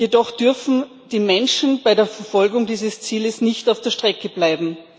jedoch dürfen die Menschen bei der Verfolgung dieses Zieles nicht auf der Strecke bleiben.